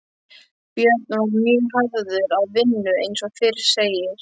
Björn var mjög hafður að vinnu eins og fyrr segir.